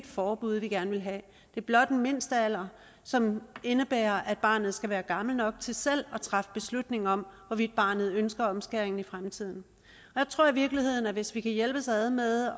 forbud vi gerne vil have det er blot en mindstealder som indebærer at barnet skal være gammelt nok til selv at træffe beslutning om hvorvidt barnet ønsker omskæring i fremtiden jeg tror i virkeligheden at hvis vi kan hjælpes ad med